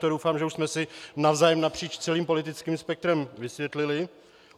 To doufám, že už jsme si navzájem napříč celým politickým spektrem vysvětlili.